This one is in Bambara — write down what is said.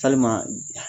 Salima